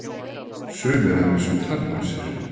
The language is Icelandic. sumir að vísu tannlausir!